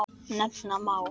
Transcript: Nefna má